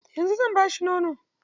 Yanzu zan ba shi nono.